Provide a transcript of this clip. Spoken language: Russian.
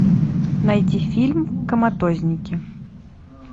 найди фильм коматозники